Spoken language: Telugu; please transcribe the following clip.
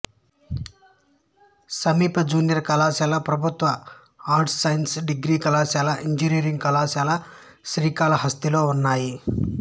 సమీప జూనియర్ కళాశాల ప్రభుత్వ ఆర్ట్స్ సైన్స్ డిగ్రీ కళాశాల ఇంజనీరింగ్ కళాశాల శ్రీకాళహస్తిలో ఉన్నాయి